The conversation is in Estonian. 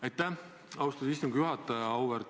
Aitäh, austatud istungi juhataja!